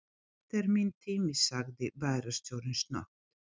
Þetta er minn tími sagði bæjarstjórinn snöggt.